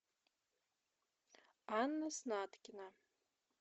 анна снаткина